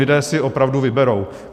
Lidé si opravdu vyberou.